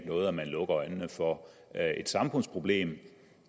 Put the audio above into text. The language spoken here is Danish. noget at man lukker øjnene for et samfundsproblem